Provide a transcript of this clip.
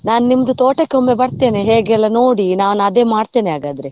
ನಾನು ನಿಮ್ದು ತೋಟಕ್ಕೆ ಒಮ್ಮೆ ಬರ್ತೇನೆ ಹೇಗೆಲ್ಲ ನೋಡಿ ನಾನು ಅದೇ ಮಾಡ್ತೇನೆ ಹಾಗಾದ್ರೆ.